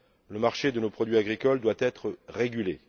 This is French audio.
Le marché de nos produits agricoles doit être régulé.